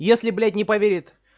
если блять не поверит